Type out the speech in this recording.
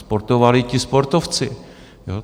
Sportovali ti sportovci.